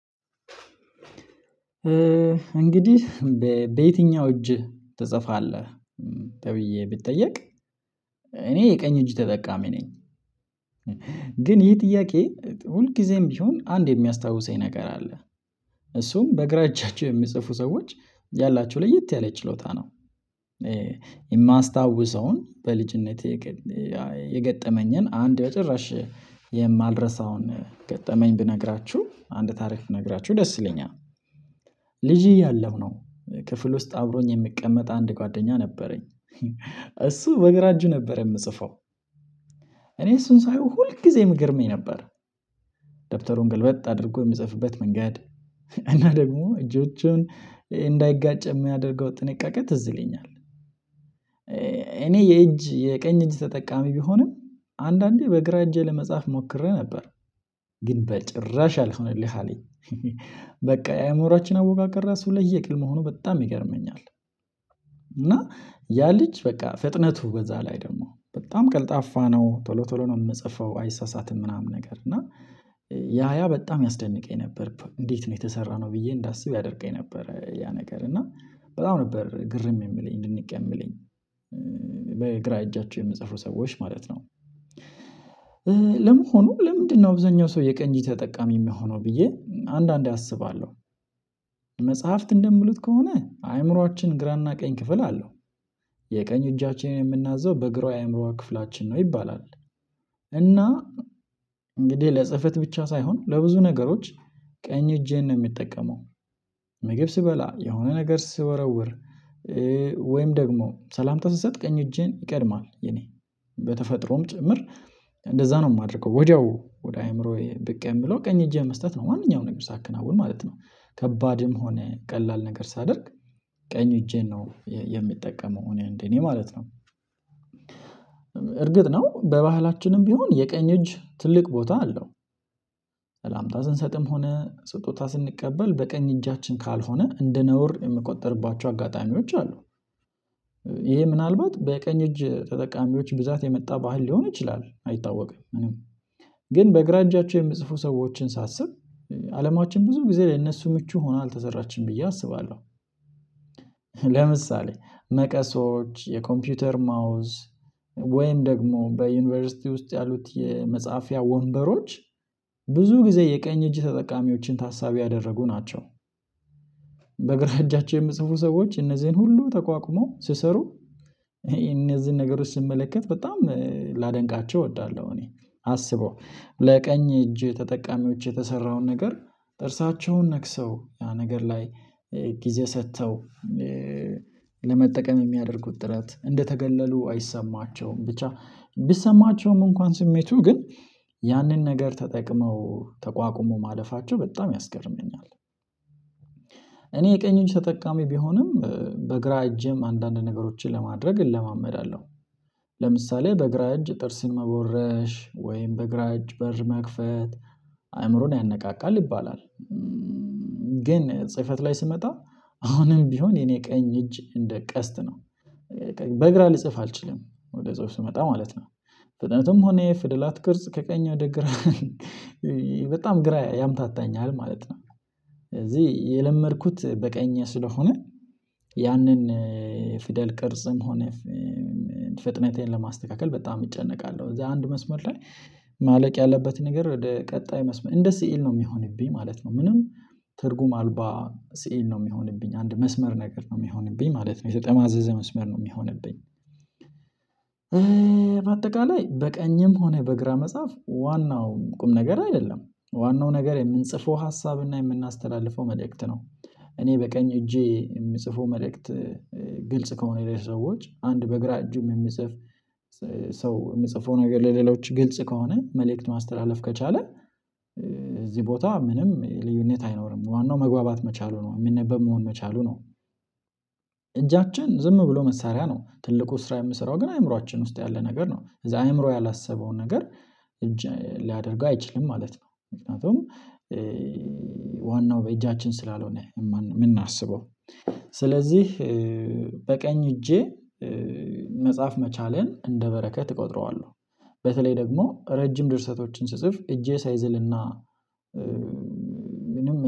እንግዲህ በየትኛው እጅ ትጽፋለህ? ተብዬ ብትጠየቅ እኔ የቀኝ እጅ ተጠቃሚ ነኝ። ግን ይሄ ጥያቄ ሁልጊዜም ጊዜም ቢሆን አንድ የሚያስታውሰኝ ነገር አለ እሱም በግራ እጃቸው የሚጽፉ ሰዎች ያላቸው ለየት ያለ ችሎታ ነው። የማስታውሰውን በልጅነቴ የገ የገጠመኝን አንድ በጥራሽ የማልረሳውን ገጠመኝ ብነግራችሁ አንድ ታሪክ ብነግራችሁ ደስ ይለኛል። ልጅ እያለሁ ነው ክፍል ውስጥ አብሮኝ የምቀመጥ አንድ ጓደኛ ነበረኝ። እሱ በግራ እጁ ነበር የምጽፈው። እኔ እሱን ሳየው ሁል ጊዜ የሚገርመኝ ነበር። ገልበጥ አድርጎ የምጽፍበት መንገድ እና ደግሞ እጆቹን እንዳይጋጭ የሚያደርገው ጥንቃቄ ትዝ ይልኛል። እኔ የእጅ የቀኝ እጅ ተጠቃሚ ቢሆንም አንዳንዴ በግራ እጄ ለመጻፍ ሞክሬ ነበር። ግን በጭራሽ አልሆነልህ አለኝ። በቃ የአእምሮአችን አወቃቀር ራሱ ለየቅል መሆኑ በጣም ይገርመኛል። እና ያ ልጅ በቃ ፍጥነቱ በዛ ላይ ደግሞ በጣም ቀልጣፋ ነው ቶሎ ቶሎ ነው የምጽፈው አይሳሳትም ምናምን ነገር እና ያ ያ በጣም ያስደንቀኝ ነበር። እንዴት ነው የተሰራነው ብዬ እንዳስብ ያደርገኝ ነበር ያ ነገር እና በጣም ነበር ግርም የሚለኝ ድንቅ የሚለኝ በግራ እጃቸው የምጽፍሩ ሰዎች ማለት ነው። ለምን ሆኖ ለምንድነው ብዙኛው ሰው የቀኝ ተጠቃሚ የሚሆነው ብዬ አንዳንዴ አስባለሁ። መጽሐፍት እንደምሉት ከሆነ አእምሮአችን ግራና ቀኝ ክፍል አለው። የቀኝ እጃችንን የምናዘው በእግሯ የአእምሮዋ ክፍላችን ነው ይባላል። እና እንግዲህ ለጽህፈት ብቻ ሳይሆን ለብዙ ነገሮች ቀኝ እጄን ነው የሚጠቀመው። ምግብ ስበላ የሆነ ነገር ስወረውር ወይም ደግሞ ሰላምታ ስትሰጥ ቀኝ እጄን ይቀድማል። የኔ በተፈጥሮም ጭምር እንደዛ ነው የማደርገው ወዲያው ወደ አእምሮዬ ብቅ የምለው ቀኝ እጄ መስጠት ነው ማንኛውንም ነገር ሳከናውን ማለት ነው። ከባድም ሆነ ቀላል ነገር ሳደርግ ቀኝ እጄን ነው የምጠቀመው እኔ እንዴ እኔ ማለት ነው። እርግጥ ነው በባህላችንም ቢሆን የቀኝ እጅ ትልቅ ቦታ አለው። ስንሰጥም ሆነ ስጦታ ስንቀበል በቀኝ እጃችን ካልሆነ እንደ ነውር የምቆጥርባቸው አጋጣሚዎች አሉ። ይሄ ምናልባት በቀኝ እጅ ተጠቃሚዎች ብዛት የመጣ ባህል ሊሆን ይችላል አይታወቅም። ግን በግራ እጃቸው የምጽፉ ሰዎችን ሳስብ አለማችን ብዙ ጊዜ ለእነሱ ምቹ ሆና አልተዘራችም ብዬ አስባለሁ። ለምሳሌ መቀሶች የኮምፒውተር ማውዝ ወይም ደግሞ በዩኒቨርሲቲ ውስጥ ያሉት የመጽሐፊያ ወንበሮች ብዙ ጊዜ የቀኝ እጅ ተጠቃሚዎችን ታሳቢ ያደረጉ ናቸው። በእግራ እጃቸው የምጽፉ ሰዎች እነዚህን ሁሉ ተቋቁሞ ሲሰሩ እነዚህን ነገሮች ስመለከት በጣም ላደንቃቸው እወዳለሁ እኔ አስበው ለቀኝ እጅ ተጠቃሚዎች የተሰራውን ነገር ጥርሳቸውን ነክሰው ነገር ላይ ጊዜ ሰጥተው ለመጠቀም የሚያደርጉት ጥረት እንደተገለሉ አይሰማቸውም ብቻ ቢሰማቸውም እንኳን ስሜቱ ግን ያንን ነገር ተጠቅመው ተቋቁሞ ማለፋቸው በጣም ያስገርመኛል። እኔ የቀኙን ተጠቃሚ ቢሆንም በግራ እጄም አንዳንድ ነገሮችን ለማድረግ እለማመዳለሁ ለምሳሌ በግራ እጅ ጥርስን መቦረሽ ወይም በግራጅ በር መክፈት አእምሮን ያነቃቃል ይባላል። ግን ጽህፈት ላይ ስመጣ አሁንም ቢሆን የኔ ቀኝ እጅ እንደ ቀስት ነው። በግራ ልጽፍ አልችልም ወደ ጽሁፍ ስመጣ ማለት ነው። ፍጥነቱም ሆነ የፍደላት ቅርጽ ከቀኝ ወደ ግራ በጣም ግራ ያምታታኛል ማለት ነው። እዚህ የለመድኩት በቀኝ ስለሆነ ያንን ፊደል ቅርጽም ሆነ ፍጥነቴን ለማስተካከል በጣም እጨነቃለሁ እዛ አንድ መስመር ላይ ማለቅ ያለበት ነገር ወደ ቀጣይ መስመር እንደ ሲእል ነው የሚሆንብኝ ማለት ነው። ምንም ትርጉም አልባ ስዕል ነው የሚሆንብኝ አንድ መስመር ነገር ነው የሚሆንብኝ ማለት ነው የተጠማዘዘ መስመር ነው የሚሆንብኝ። በአጠቃላይ በቀኝም ሆነ በግራ መጻፍ ዋናውን ቁም ነገር አይደለም ዋናው ነገር የምንጽፈው ሀሳብና የምናስተላልፈው መልእክት ነው እኔ በቀኝ እጄ የምጽፈው መልእክት። ግልጽ ከሆነ የሌለች ሰዎች አንድ በግራ እጁም የሚጽፍ ሰው የሚጽፉ ነገር ለሌሎች ግልጽ ከሆነ መልእክት ማስተላለፍ ከቻለ እዚህ ቦታ ምንም ልዩነት አይኖርም ዋናው መግባባት መቻሉ ነው የሚነበብ መሆን መቻሉ ነው። እጃችን ዝም ብሎ መሳሪያ ነው ትልቁ ስራ የምሰራው ግን አእምሮአችን ውስጥ ያለ ነገር ነው እዛ አእምሮ ያላሰበውን ነገር እጅ ሊያደርገው አይችልም ማለት ነው። ምክንያቱም ዋናው በእጃችን ስላልሆነ የምናስበው ስለዚህ በቀኝ እጄ መጽሐፍ መቻሌን እንደ በረከት እቆጥረዋለሁ። በተለይ ደግሞ ረጅም ድርሰቶችን ስጽፍ እጄ ሳይዝልና ምንም